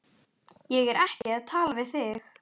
Ég er ekki að tala við þig.